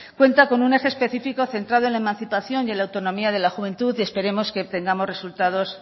cuenta con un eje específico centrado en la emancipación y la autonomía de la juventud y esperemos que obtengamos resultados